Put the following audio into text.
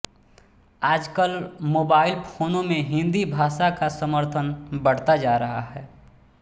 आजकल मोबाइल फोनों में हिन्दी भाषा का समर्थन बढ़ता जा रहा है